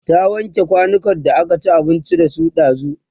ta wanke kwanukan da aka ci abinci da su ɗazun?